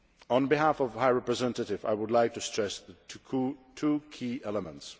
On behalf of the High Representative, I would like to stress two key elements.